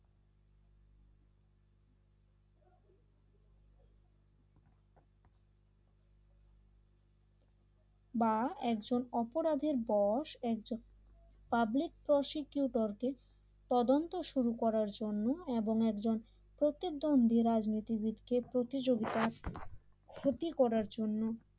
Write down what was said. বা একজন অপরাধের বস একজন পাবলিক প্রসিকিউটর কে তদন্ত শুরু করার জন্য এবং একজন প্রতিদ্বন্দ্বী রাজনীতিবিদ কে প্রতিযোগিতার ক্ষতি করার জন্য